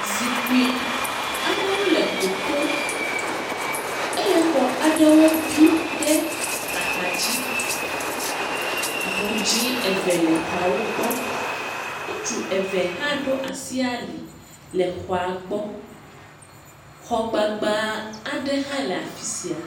Zikpui aɖewo le goto eye xɔ aɖewo bi ɖe axadzi, ŋu dzɛ̃ eve le xɔawo gbɔ, ŋutsu eve hã ɖo asi ali le xɔa gbɔ, xɔ gbagba aɖe hã le afi sia.